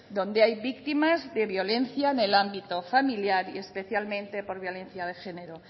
donde hay víctimas de violencia en el ámbito familiar y especialmente por violencia de género